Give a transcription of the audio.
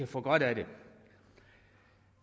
får gavn af det